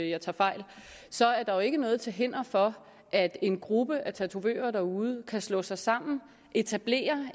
jeg tager fejl så er der jo ikke noget til hinder for at en gruppe af tatovører derude kan slå sig sammen etablere